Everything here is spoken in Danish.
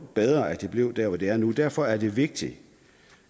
bedre at de blev der hvor de er nu derfor er det vigtigt